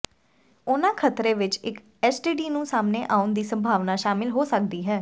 ਉਹਨਾਂ ਖ਼ਤਰੇ ਵਿੱਚ ਇੱਕ ਐਸਟੀਡੀ ਨੂੰ ਸਾਹਮਣੇ ਆਉਣ ਦੀ ਸੰਭਾਵਨਾ ਸ਼ਾਮਿਲ ਹੋ ਸਕਦੀ ਹੈ